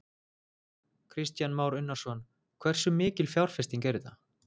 Kristján Már Unnarsson: Hversu mikil fjárfesting er þetta?